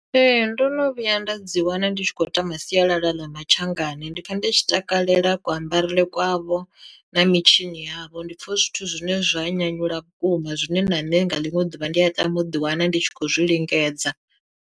Ee ndono vhuya nda dzi wana ndi tshi khou tama sialala ḽa mathangani ndi pfha ndi tshi takalela kuambarele kwavho na mitshini yavho, ndi pfha hu zwithu zwine zwa nyanyula vhukuma zwine na nṋe nga ḽiṅwe ḓuvha ndi a tama u ḓi wana ndi tshi khou zwi lingedza.